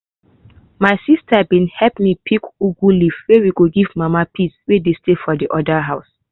my sister bin help me pick ugu leaf wey we give mama peace wey dey stay for de other house.